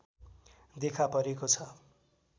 देखापरेको छ